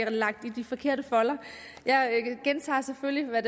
lagt i de forkerte folder jeg gentager selvfølgelig hvad